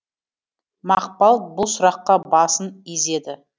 мақпал бұл сұраққа басын изеді